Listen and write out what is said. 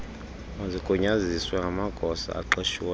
mazigunyaziswe ngamagosa aqeshiweyo